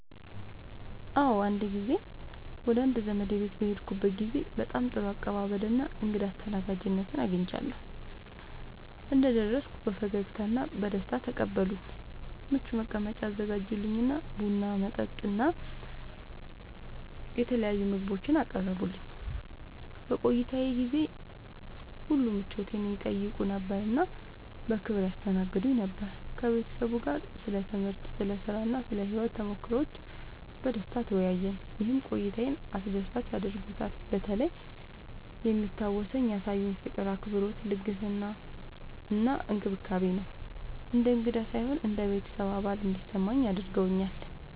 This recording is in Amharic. አዎ፣ አንድ ጊዜ ወደ አንድ ዘመዴ ቤት በሄድኩበት ጊዜ በጣም ጥሩ አቀባበል እና እንግዳ አስተናጋጅነት አግኝቻለሁ። እንደደረስኩ በፈገግታ እና በደስታ ተቀበሉኝ፣ ምቹ መቀመጫ አዘጋጁልኝ እና ቡና፣ መጠጥ እና የተለያዩ ምግቦችን አቀረቡልኝ። በቆይታዬ ጊዜ ሁሉ ምቾቴን ይጠይቁ ነበር እና በክብር ያስተናግዱኝ ነበር። ከቤተሰቡ ጋር ስለ ትምህርት፣ ስለ ሥራ እና ስለ ሕይወት ተሞክሮዎች በደስታ ተወያየን፣ ይህም ቆይታዬን አስደሳች አድርጎታልበተለይ የሚታወሰው ያሳዩኝ ፍቅር፣ አክብሮት፣ ልግስና እና እንክብካቤ ነው። እንደ እንግዳ ሳይሆን እንደ ቤተሰብ አባል እንዲሰማኝ አድርገውኛል።